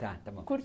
Tá, tá bom. por